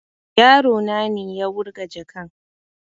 Yaro na ne ya wurga jakan